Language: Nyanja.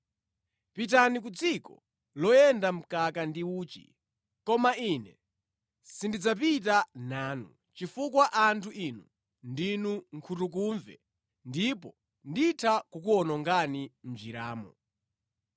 Pitani ku dziko loyenda mkaka ndi uchi. Koma ine sindidzapita nanu, chifukwa anthu inu ndinu nkhutukumve ndipo nditha kukuwonongani mʼnjiramo.”